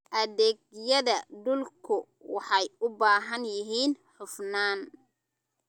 Adeegyada dhulku waxay u baahan yihiin hufnaan.